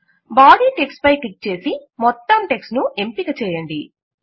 body text పై click చేసి మొత్తం టెక్ట్స్ ను ఎంపిక చేయండి